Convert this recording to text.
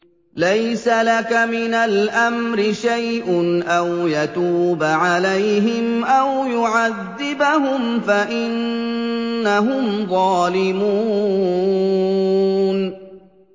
لَيْسَ لَكَ مِنَ الْأَمْرِ شَيْءٌ أَوْ يَتُوبَ عَلَيْهِمْ أَوْ يُعَذِّبَهُمْ فَإِنَّهُمْ ظَالِمُونَ